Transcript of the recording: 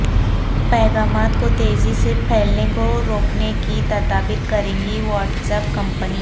پیغامات کوتیزی سے پھیلنے کو روکنے کی تدابیر کریگی وہاٹس ایپ کمپنی